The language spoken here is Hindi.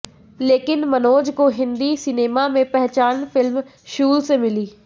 लेकिन मनोज को हिंदी सिनेमा में पहचान फिल्म शूल से मिली